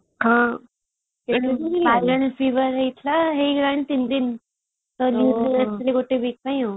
ହଁ ହେଇଥିଲା ହେଇଗଲାଣି ତିନି ଦିନ ଗୋଟେ week ପାଇଁ ଆଉ